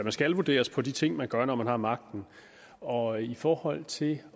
skal vurderes på de ting man gør når man har magten og i forhold til